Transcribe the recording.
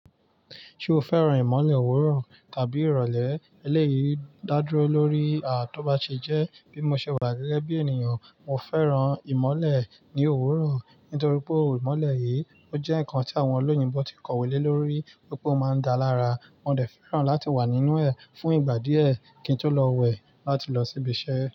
Ṣé o fẹ́ràn ìmọ̀le òwúrọ̀ tàbí ìrọ̀lẹ́? Eléyìí dá dúró lórí, à, tó bá ṣe jẹ́ bí mo ṣe wà gẹ́gẹ́ bí ènìyàn, mo fẹ́ràn ìmọ̀le ní òwúrọ̀. Nítorí pé ìmọ̀le yìí, ó jẹ́ ǹkan tí àwọn olóyìnbó ti kọ̀wé lé lórí pé ó máa ń dá lára, mò dẹ̀ fẹ́ràn láti wà nínú ẹ̀ fún ìgbà díẹ̀ kí n tó lọ wẹ̀ láti lọ síbi iṣẹ́.